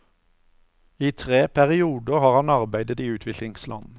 I tre perioder har han arbeidet i utviklingsland.